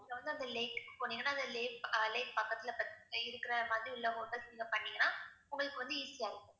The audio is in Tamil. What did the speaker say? நீங்க வந்து அந்த lake போனீங்கன்னா அந்த lake ஆஹ் lake பக்கத்துல இருக்கிற மாதிரி உள்ள hotels உங்களுக்கு வந்து easy ஆ இருக்கும்